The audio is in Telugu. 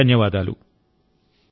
నమస్కారం ధన్యవాదాలు